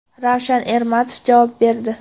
Ravshan Ermatov javob berdi.